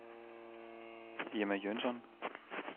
Irma Jønsson